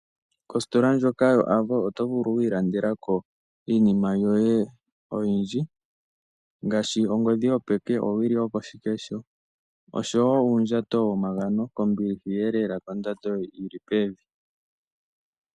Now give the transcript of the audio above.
Kositola ndika yo ovo oto vulu okwii landelako iinima yoye oyindji ngaashi ongodhi yo peke ,owili yoko shikesho osho woo uundjato wo magano ko mbiliha eelela kondando yili pevi.